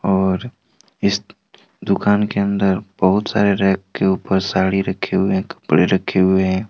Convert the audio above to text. और इस दुकान के अंदर बहुत सारे रैक के ऊपर साड़ी रक्खे हुए है रखे हुए हैं।